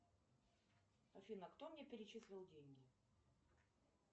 афина кто мне перечислил деньги